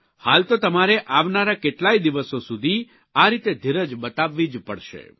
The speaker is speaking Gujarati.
હાલ તો તમારે આવનારા કેટલાય દિવસો સુધી આ રીતે ધીરજ બતાવવી જ પડશે